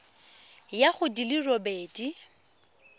ya go di le robedi